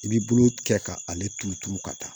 I b'i bolo kɛ ka ale turu turu ka taa